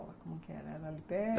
Como que era? era ali perto?